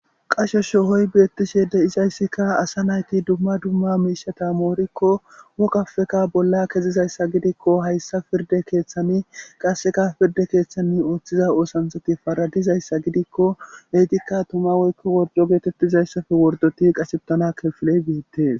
Qasho shohoy beettishe de7isayssikka asa nayti dumma dumma miishata moorikko woqafeka bolla kezizayssa gidikko hayssa pirde keeththani qasseka pirde keeththanni ooththiza oosanshati faradizayssa gidikko leytikka tuma woykko worjo geetettizayssafe wordoti qasebtana kefiley biettees.